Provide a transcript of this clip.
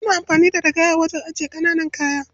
Ana amfani da ragaya wajen ajiyar ƙaƙanan kayan.